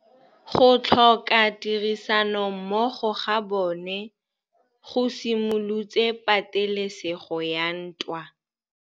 Go tlhoka tirsanommogo ga bone go simolotse patêlêsêgô ya ntwa.